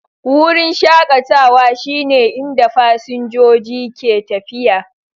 Wurin shakatawa shine inda fasinjoji ke tafiya